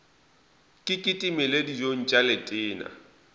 ke kitimele dijong tša letena